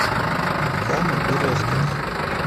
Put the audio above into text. камы березкина